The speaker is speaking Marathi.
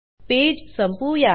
पेज संपवूया